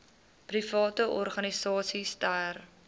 private organisasies ter